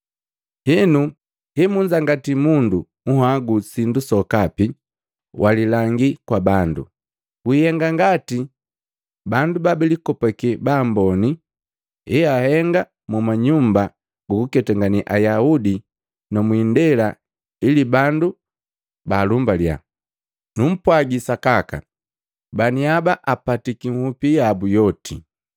“Henu, hemunzangati mundu nhagu sindu sokapi, walilangii kwa bandu. Wiihenga ngati bandu babilikopake baamboni, heahenga mu manyumba gukuketangane Ayaudi na mwiindela ili bandu baalumbaliya. Numpwagi sakaka, baniaba apatiki nhupi yabu yoti.